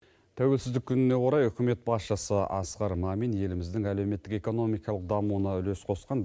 тәуелсіздік күніне орай үкімет басшысы асқар мамин еліміздің әлеуметтік экономикалық дамуына үлес қосқан